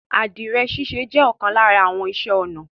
Adirẹ̀ síṣẹ̀ jẹ̀ ọkan lárà àwọn ìṣẹ̀ onà